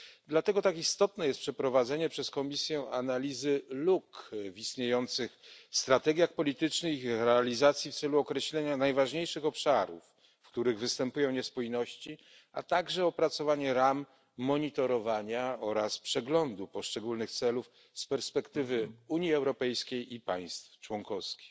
Dlatego tak istotne jest przeprowadzenie przez Komisję analizy luk w istniejących strategiach politycznych, ich realizacji, w celu określenia najważniejszych obszarów, w których występują niespójności, a także opracowanie ram monitorowania oraz przeglądu poszczególnych celów z perspektywy Unii Europejskiej i państw członkowskich.